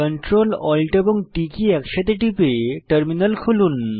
Ctrl Alt এবং T key একসাথে টিপে টার্মিনাল খুলুন